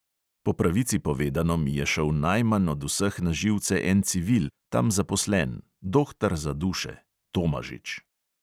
Po pravici povedano mi je šel najmanj od vseh na živce en civil, tam zaposlen, dohtar za duše, tomažič.